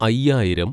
അയ്യായിരം